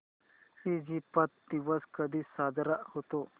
Egypt दिवस कधी साजरा होतो